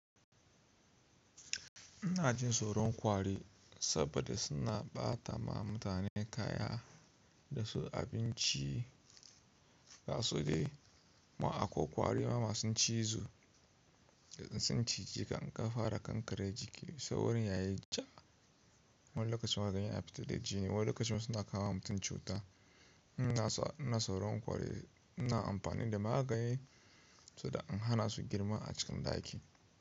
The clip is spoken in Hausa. Ina jin tsoron ƙwari saboda suna ɓata ma mutane kaya da su abinci. Gasu dai ma akwai ƙwari ma masu cizo da in sun cije ka in ka fara kankare jiki. Sai wurin yayi ja. Wani lokacin ma kaga yana fitar da jini, wani lokacin ma suna kawo wa mutum cuta. Ina tsoron ƙwari. Ina amfani da magani saboda in hana su girma a cikin ɗaki.